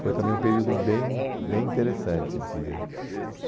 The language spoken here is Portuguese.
Foi também um período bem bem interessante de